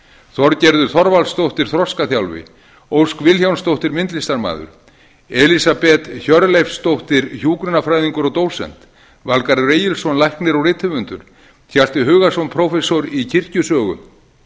þorgerður þorvaldsdóttir þroskaþjálfi ósk vilhjálmsdóttir myndlsitamaður elísabet hjörleifsdóttir hjúkrunarfræðingur og dósent valgarður egilsson læknir og rithöfundur hjalti hugason prófessor í kirkjusögu